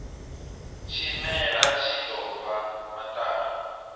tshimela tshi ḓo bva maṱari